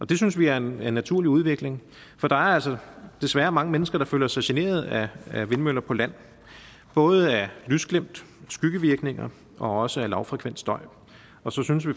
det synes vi er en naturlig udvikling for der er altså desværre mange mennesker der føler sig generet af vindmøller på land både af lysglimt skyggevirkninger og også af lavfrekvent støj og så synes vi